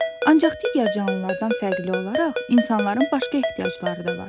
Ancaq digər canlılardan fərqli olaraq insanların başqa ehtiyacları da var.